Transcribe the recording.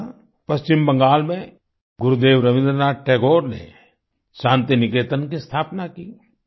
इसी तरह पश्चिम बंगाल में गुरुदेव रविन्द्र नाथ टैगोर ने शान्ति निकेतन की स्थापना की